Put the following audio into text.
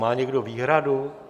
Má někdo výhradu?